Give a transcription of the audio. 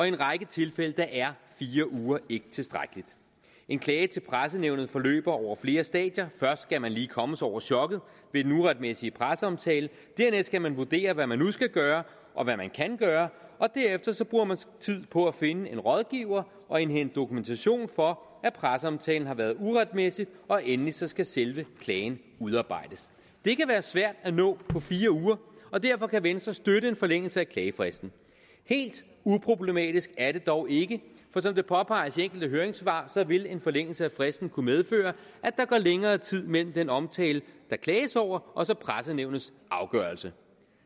en række tilfælde er fire uger ikke tilstrækkeligt en klage til pressenævnet forløber over flere stadier først skal man lige komme sig over chokket ved den uretmæssige presseomtale dernæst skal man vurdere hvad man nu skal gøre og hvad man kan gøre og derefter bruger man tid på at finde en rådgiver og indhente dokumentation for at presseomtalen har været uretmæssig og endelig skal skal selve klagen udarbejdes det kan være svært at nå på fire uger og derfor kan venstre støtte en forlængelse af klagefristen helt uproblematisk er det dog ikke for som det påpeges i enkelte høringssvar vil en forlængelse af fristen kunne medføre at der går længere tid mellem den omtale der klages over og pressenævnets afgørelse